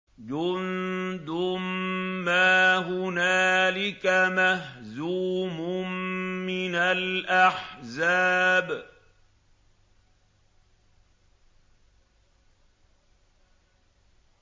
جُندٌ مَّا هُنَالِكَ مَهْزُومٌ مِّنَ الْأَحْزَابِ